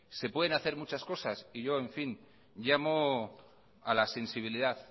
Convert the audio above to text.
se pueden hacer muchas cosas en fin yo llamo a la sensibilidad